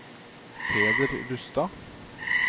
Peder Rustad